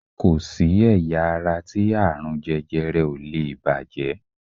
Ko si ẹ̀yà ara ti aarun jẹjẹrẹ o lee bàjẹ́